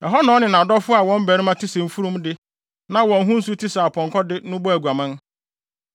Ɛhɔ na ɔne nʼadɔfo a wɔn barima te sɛ mfurum de na wɔn ho nsu te sɛ apɔnkɔ de no bɔɔ aguaman.